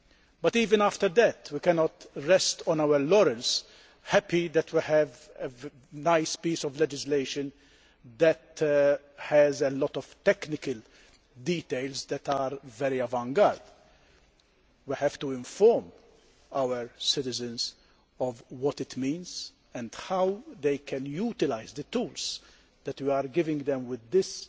But even after that, we cannot rest on our laurels, happy that we have a nice piece of legislation that has a lot of technical details that are very avant garde. We have to inform our citizens of what it means, and how they can utilise the tools that we are giving them with this